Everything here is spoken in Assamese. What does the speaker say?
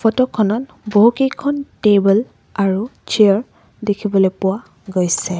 ফটো খনত বহুকেইখন টেবুল আৰু চিয়াৰ দেখিবলৈ পোৱা গৈছে।